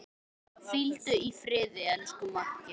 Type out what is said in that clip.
Hvíldu í friði, elsku Maggi.